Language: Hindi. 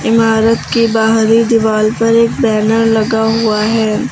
इमारत की बाहरी दीवाल पर एक बैनर लगा हुआ है।